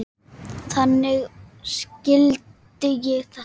Þannig skildi ég þetta.